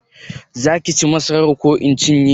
Za ki ci masarar ko in cinye?